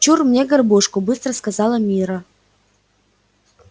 чур мне горбушку быстро сказала мирра